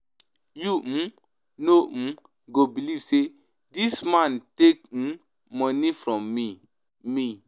You um no um go believe say dis man rake um money from me. me.